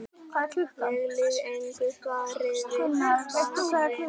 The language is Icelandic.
Ég lýg engu, svaraði Baldvin.